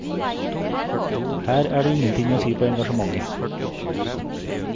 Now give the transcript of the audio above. Her er det ingenting å si på engasjementet.